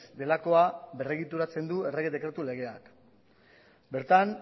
delakoa berregituratzen du errege dekretu legeak bertan